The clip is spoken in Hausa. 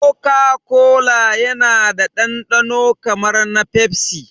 Koka kola yana da dandano kamar na pepsi